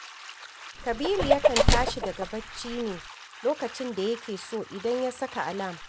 Kabiru yakan tashi daga barci ne lokacin da yake so idan ya saka alam